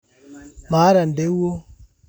Maata nteuwo